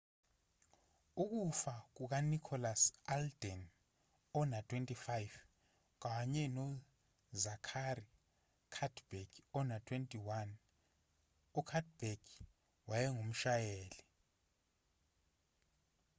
ukufa kukanicholas alden ona-25 kanye nozachary cuddeback ona-21 ucuddeback wayengumshayeli